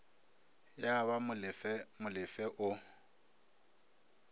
ya ba molefe molefe o